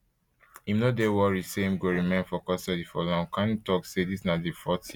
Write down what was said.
im no dey worried say im go remain for custody for long kanu tok say dis na di fourth year